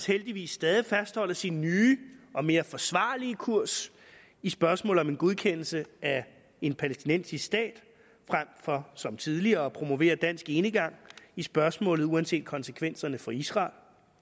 heldigvis stadig fastholder sin nye og mere forsvarlige kurs i spørgsmålet om en godkendelse af en palæstinensisk stat frem for som tidligere at promovere dansk enegang i spørgsmålet uanset konsekvenserne for israel